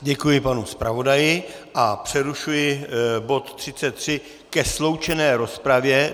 Děkuji panu zpravodaji a přerušuji bod 33 ke sloučené rozpravě.